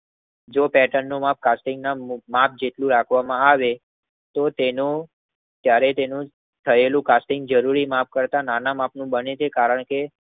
જે પેર્ટન નું મેપ કાર્ટિંગ ના મેપ જેટલું રાખવામાં આવે તો તેનું ત્યરે તેનું થયેલું કાર્ટિંગ જરૂરી મેપ કરતા નાના મેપ કરતા બને છે કારણ કે